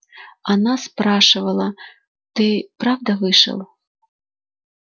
она спрашивала ты правда вышел